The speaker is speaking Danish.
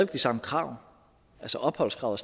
de samme krav altså opholdskravet